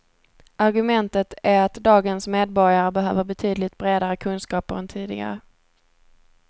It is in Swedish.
Argumentet är att dagens medborgare behöver betydligt bredare kunskaper än tidigare.